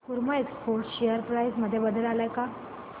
सकुमा exports share price मध्ये बदल आलाय का